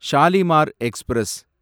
Shalimar express